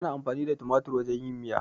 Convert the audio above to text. Ana amfani da tumatir wajen yin miya.